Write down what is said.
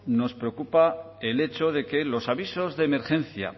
nos preocupa el hecho de que los avisos de emergencia